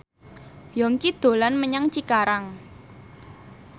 Yongki dolan menyang Cikarang